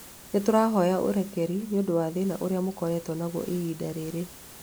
Nĩ tũrahoya ũrekeri nĩ ũndũ wa thĩna ũrĩa mũkoretwo naguo ihinda rĩrĩ